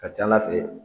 Ka ca ala fɛ